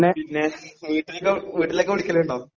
പിന്നെ വീട്ടിലിക്ക് വീട്ടിലേക്ക് വിളിക്കലിണ്ടോ.